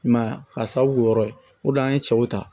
I m'a ye k'a sababu kɛ o yɔrɔ ye o de an ye cɛw ta